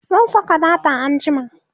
zan Saka data anjima